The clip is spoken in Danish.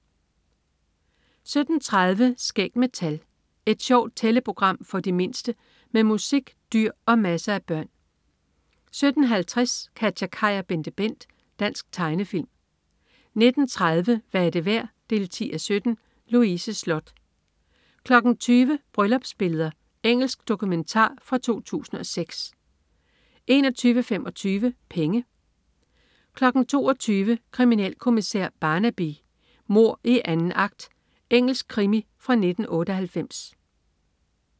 17.30 Skæg med tal. Et sjovt tælleprogram for de mindste med musik, dyr og masser af børn 17.50 KatjaKaj og BenteBent. Dansk tegnefilm 19.30 Hvad er det værd? 10:17. Louise Sloth 20.00 Bryllupsbilleder. Engelsk dokumentar fra 2006 21.25 Penge 22.00 Kriminalkommissær Barnaby: Mord i anden akt. Engelsk krimi fra 1998